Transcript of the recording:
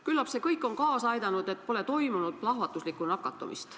Küllap see kõik on kaasa aidanud, et pole toimunud plahvatuslikku nakatumist.